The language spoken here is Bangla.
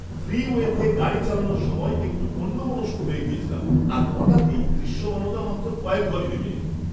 ফ্রিওয়েতে গাড়ি চালানোর সময় একটু অন্যমনস্ক হয়ে গেছিলাম আর হঠাৎই দৃশ্যমানতা মাত্র কয়েক গজে নেমে এল।